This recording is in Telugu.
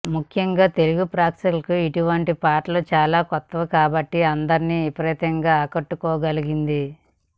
ముఖ్యంగా తెలుగు ప్రేక్షకులకు ఇటువంటి పాటలు చాలా కొత్త కాబట్టి అందరిని విపరీతంగా ఆకట్టుకోగలిగింది